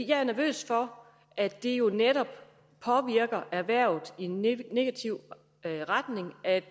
er nervøs for at det jo netop påvirker erhvervet i negativ retning at